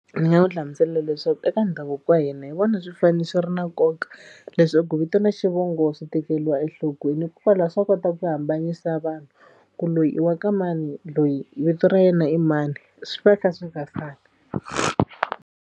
Ni nga n'wi hlamusela leswaku eka ndhavuko wa hina hi vona swi fanele swi ri na nkoka leswaku vito na xivongo swi tekeriwa enhlokweni hikokwalaho swa kota ku hambanyisa vanhu ku loyi i wa ka mani loyi vito ra yena i mani swi va kha swi nga fani.